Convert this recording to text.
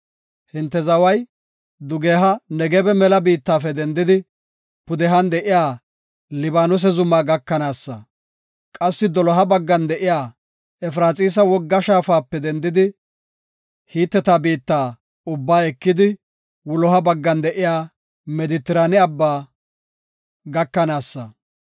Hinte zaway dugeha Negebe mela biittafe dendidi, pudehan de7iya Libaanose zuma gakanaasa. Qassi doloha baggan de7iya Efraxiisa wogga shaafape dendidi, Hiteta biitta ubba ekidi wuloha baggan de7iya Medetrane abba gakanaasa.